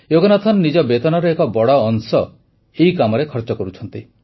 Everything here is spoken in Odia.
ଯୋଗନାଥନ ନିଜ ବେତନର ଏକ ବଡ଼ ଅଂଶ ଏହି କାମରେ ଖର୍ଚ୍ଚ କରୁଛନ୍ତି